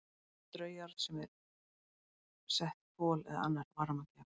Dæmi um straujárn sem í voru sett kol eða annar varmagjafi.